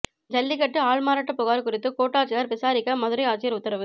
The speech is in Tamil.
ஜல்லிக்கட்டு ஆள்மாறாட்ட புகார் குறித்து கோட்டாட்சியர் விசாரிக்க மதுரை ஆட்சியர் உத்தரவு